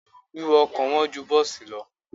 Wíwọ ọkọ̀ wọn ju bọ́ọ̀sì lọ.